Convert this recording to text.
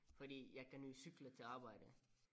Fordi jeg kan jo cykle til arbejde